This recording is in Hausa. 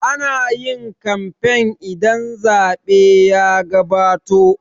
Ana yin kamfen idan zaɓe ya gabato